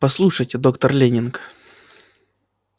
послушайте доктор лэннинг